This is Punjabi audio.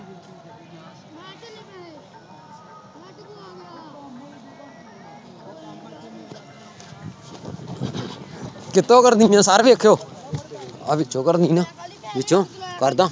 ਕਿੱਥੋਂ ਕਰਨੀ ਵੇਖਿਓ ਆਹ ਵਿੱਚੋਂ ਕਰਨੀ ਆਂ ਵਿੱਚੋਂ ਕਰਦਾਂ।